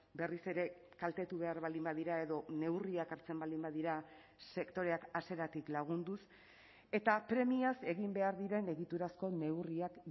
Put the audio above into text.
berriz ere kaltetu behar baldin badira edo neurriak hartzen baldin badira sektoreak hasieratik lagunduz eta premiaz egin behar diren egiturazko neurriak